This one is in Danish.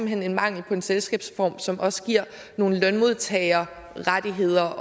hen er mangel på en selskabsform som også giver nogle lønmodtagerrettigheder